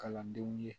Kalandenw ye